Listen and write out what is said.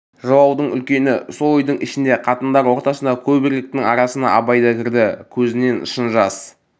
жылаудың үлкені сол үйдің ішінде қатындар ортасында көп еркектің арасына абай да кірді көзінен шын жас